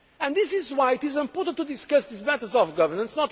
decisions. This is why it is important to discuss these matters of governance.